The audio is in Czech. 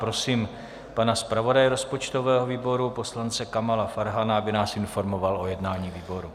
Prosím pana zpravodaje rozpočtového výboru poslance Kamala Farhana, aby nás informoval o jednání výboru.